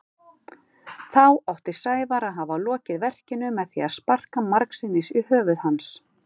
Þá átti Sævar að hafa lokið verkinu með því að sparka margsinnis í höfuð hans.